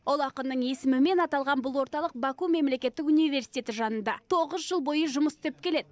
ұлы ақынның есімімен аталған бұл орталық баку мемлекеттік университеті жанында тоғыз жыл бойы жұмыс істеп келеді